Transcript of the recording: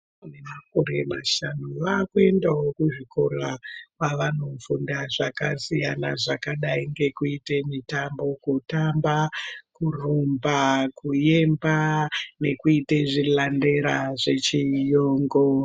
Vana vane makore mashanu vaakuendawo kuzvikora kwavanofunda zvakasiyana zvakadai ngekuite mitambo. Kutamba, kurumba, kuemba nekuita zvilandera zvechiyungu.